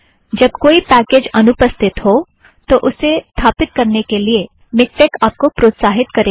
जब कोई पैकेज अनुपस्थित हो तो उसे स्थापिथ्त करने के लिए मिक्टेक आप को प्रोत्साहित करेगा